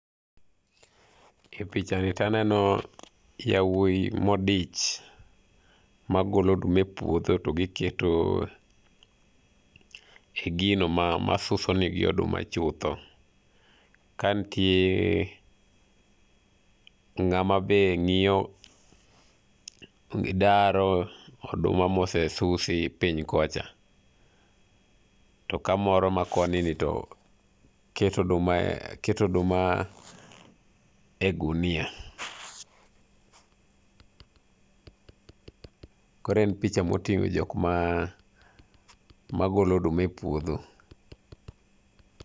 E pichani taneno yawoyi modich magolo oduma e puodho to giketo e gino ma ,ma suso negi oduma chutho. Ka ntie, ng'ama be ngiyo ,gidaro oduma mose susi piny kocha. To kamoro makoni ni to keto oduma e,keto oduma e gunia. Koro en picha motingo jokma, magolo oduma e puodho